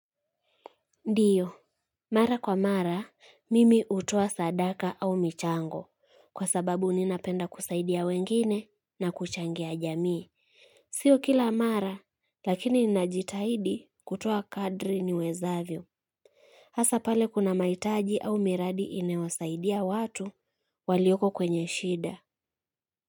Ndiyo, mara kwa mara, mimi utoa sadaka au michango, kwa sababu ninapenda kusaidia wengine na kuchangia jamii. Sio kila mara, lakini ninajitahidi kutoa kadri niwezavyo. Hasa pale kuna maitaji au miradi inawasaidia watu, walioko kwenye shida.